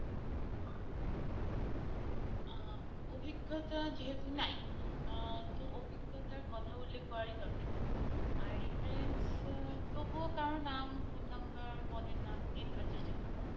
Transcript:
আহ অভিজ্ঞতা যেহেতু নাই আহ তো অভিজ্ঞতার কথা বললে করারই দরকার নেই আর reference আ তবুও কারো নাম phone number পদের নাম দিয়ে দেওয়ার চেষ্টা করবা।